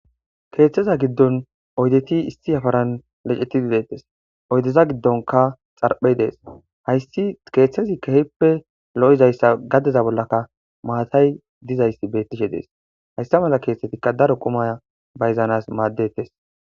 Kethaza giddoni oyideti issi yafarran deyidi bettesi oyideta gidonika xaripheyi deyesi. Hayisi kethazi kehippe loyidayissa gadeza bollaka mattayi dizayis beteshe desi hayisa mala kethatika darro quma mizanasi madesi